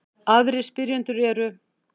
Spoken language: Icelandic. Aðrir spyrjendur eru: